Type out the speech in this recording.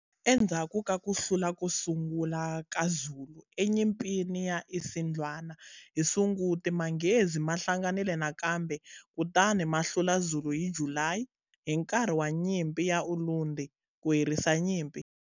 Endzhaku ka ku hlula ko sungula ka Zulu eNyimpini ya Isandlwana hi sunguti, Manghezi ma hlanganile nakambe kutani ma hlula Zulu hi July hi nkarhi wa Nyimpi ya Ulundi, ku herisa nyimpi.